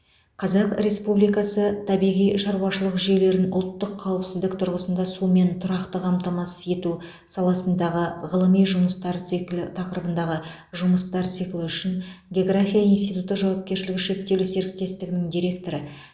қазақ республикасы табиғи шаруашылық жүйелерін ұлттық қауіпсіздік тұрғысында сумен тұрақты қамтамасыз ету саласындағы ғылыми жұмыстар циклі тақырыбындағы жұмыстар циклі үшін география институты жауапкершілігі шектеулі серіктестігінің директоры